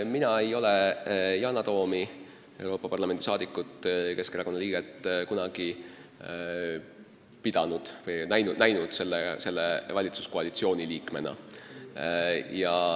Mina ei ole Yana Toomi, Euroopa Parlamendi ja Keskerakonna liiget, kunagi näinud selle valitsuskoalitsiooni liikmena.